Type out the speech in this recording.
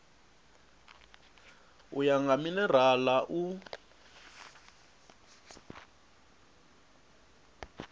u ya nga minerala u